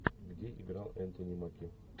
где играл энтони маки